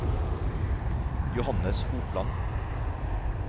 Johannes Hopland